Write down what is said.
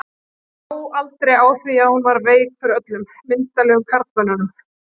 Lá aldrei á því að hún var veik fyrir öllum myndarlegum karlmönnum.